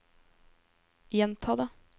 gjenta det